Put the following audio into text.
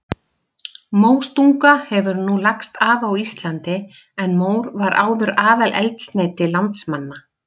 Móstunga hefur nú lagst af á Íslandi en mór var áður aðaleldsneyti landsmanna.